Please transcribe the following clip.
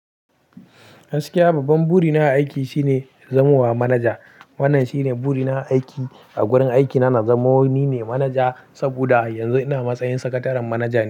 Haskiya babban buri na aiki shine zamuwa manaja. Wannan shine buri na aiki a wurin aikina na. Zamoni ne manaja saboda yanzu ina matsayin sakataren manaja ne.